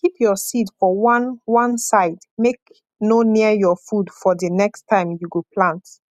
keep your seed for one one side make no near your food for di next time you go plant